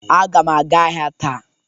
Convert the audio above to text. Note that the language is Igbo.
Aga m aga ahịa taa